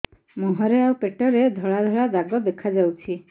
ମୁହଁରେ ଆଉ ପେଟରେ ଧଳା ଧଳା ଦାଗ ଦେଖାଯାଉଛି